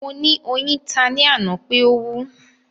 Mo ni oyin ta ni ana pe o wú